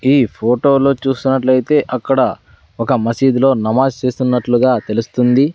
ఈ ఫోటో లో చూస్తున్నట్లయితే అక్కడ ఒక మసీద్ లో నమాజ్ చేస్తున్నట్లుగా తెలుస్తుంది.